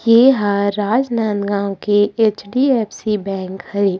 ये ह राजनांदगांव के एच. डी.फ.सी. बैंक हरे।